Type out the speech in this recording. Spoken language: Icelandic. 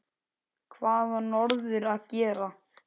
Hvað á norður að gera?